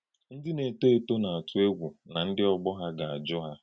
Ndí na-ètò ètò na-àtú ègwù na ndí ọ̀gbọ̀ ha ga-ajụ́ ha.